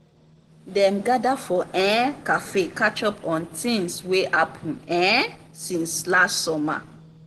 dem gather for um café catch up on tings wey happen um since last summer.